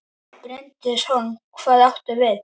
Bryndís Hólm: Hvað áttu við?